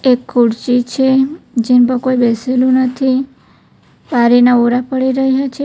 એક ખુરશી છે જેન પર કોઈ બેસેલું નથી પારીના ઓરા પડી રહ્યા છે.